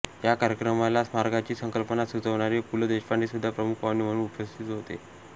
या कार्यक्रमाला स्मारकाची संकल्पना सुचवणारे पु ल देशपांडे सुद्धा प्रमुख पाहुणे म्हणून उपस्थित होते